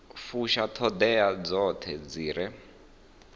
fusha ṱhoḓea dzoṱhe dzi re